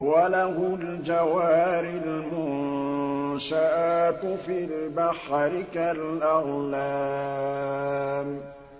وَلَهُ الْجَوَارِ الْمُنشَآتُ فِي الْبَحْرِ كَالْأَعْلَامِ